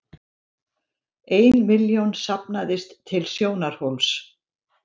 Ein milljón safnaðist til Sjónarhóls